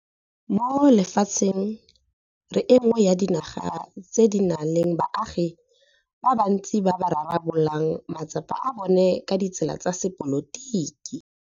Mo lefatsheng re e nngwe ya dinaga tse di nang le baagi ba bantsi ba ba rarabololang matsapa a bona ka ditsela tsa sepolotiki.